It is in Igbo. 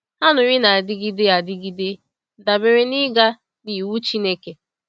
Anụrị na-adịgide adịgide dabere n’ịga n’iwu Chineke.